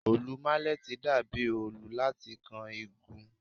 Òòlù mílẹ́tì dà bí òòul láti kan igun.